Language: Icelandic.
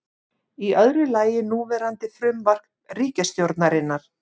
Í öðru lagi núverandi frumvarp ríkisstjórnarinnar